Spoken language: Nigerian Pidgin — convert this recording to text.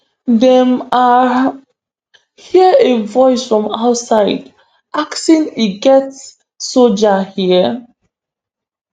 dem um hear a voice from outside asking e get soldiers hia